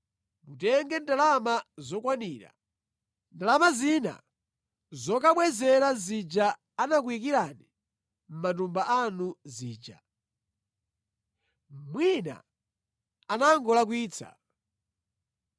Mutenge ndalama zokwanira. Ndalama zina nʼzokamubwezera zija anakuyikirani mʼmatumba anu zija. Mwina anangolakwitsa.